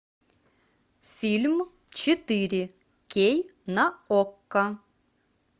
фильм четыре кей на окко